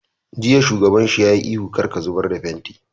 Jiya shugaban shi ya yi ihu 'Kar ka zubar da fentin'!